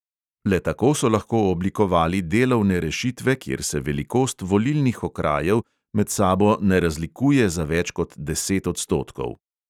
Le tako so lahko oblikovali delovne rešitve, kjer se velikost volilnih okrajev med sabo ne razlikuje za več kot deset odstotkov.